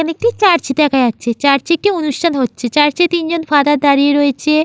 এখানে একটি চার্চ দেখা যাচ্ছে। চার্চে একটি অনুষ্ঠান হচ্ছে। চার্চ -এ তিনজন ফাদার দাঁড়িয়ে রয়েছে--